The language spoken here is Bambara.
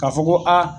Ka fɔ ko aa